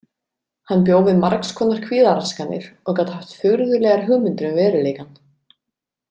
Hann bjó við margs konar kvíðaraskanir og gat haft furðulegar hugmyndir um veruleikann.